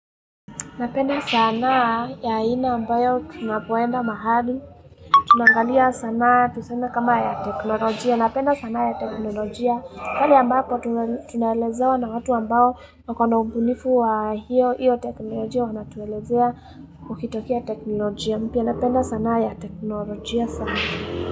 Napenda sanaa ya aina ambayo tunappoenda mahali, tunaangalia sanaa, tuseme kama ya teknolojia, napenda sana ya teknolojia, kwani ambako tunaelezewa na watu ambao wako na ubunifu wa hiyo, hiyo teknolojia wanatuelezea ukitokea teknolojia, mpya napenda sanaa ya teknolojia sana.